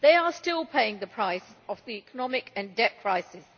They are still paying the price of the economic and debt crises.